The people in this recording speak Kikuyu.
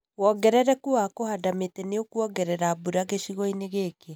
Wongerereku wa kũhanda mĩtĩ nĩ ũkwongerera mbura gĩcigo-inĩ gĩkĩ